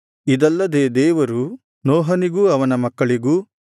ಇದಲ್ಲದೆ ದೇವರು ನೋಹನಿಗೂ ಅವನ ಮಕ್ಕಳಿಗೂ